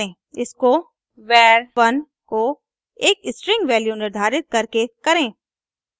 इसको var 1 को एक string वैल्यू निर्धारित करके करें